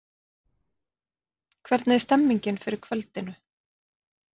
Hvernig er stemningin fyrir kvöldinu?